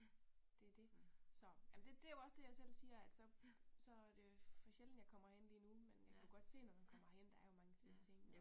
Det det. Så ja jamen det jo også det jeg selv siger at så så det for sjældent jeg kommer herind lige nu men jeg kan jo godt se når man kommer herind der er jo mange fede iggå